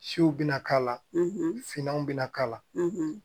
Siw bɛna k'a la finmanw bɛna k'a la